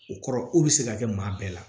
O kɔrɔ ko bɛ se ka kɛ maa bɛɛ la